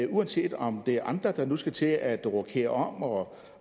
uanset om det er andre der nu skal til at rokere om